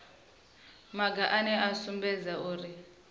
maga ane a sumbedza uri